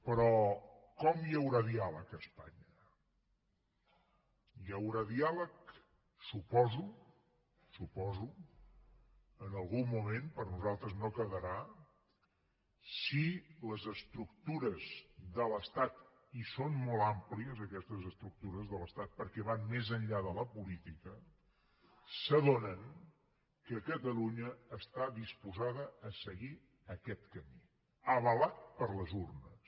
però com hi haurà diàleg a espanya hi haurà diàleg suposo suposo en algun moment per nosaltres no quedarà si les estructures de l’estat i són molt àmplies aquestes estructures de l’estat perquè van més enllà de la política s’adonen que catalunya està disposada a seguir aquest camí avalat per les urnes